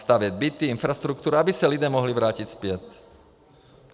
Stavět byty, infrastrukturu, aby se lidé mohli vrátit zpět.